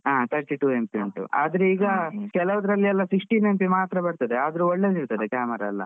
ಹಾ Thirty-two MP ಉಂಟು. ಆದ್ರೆ ಈಗ ಕೆಲೋದ್ರಲ್ಲಿ ಎಲ್ಲಾ sixteen MP ಮಾತ್ರ ಬರ್ತದೆ ಆದ್ರೆ ಒಳ್ಳೆದಿರ್ತದೆ camera ಎಲ್ಲ.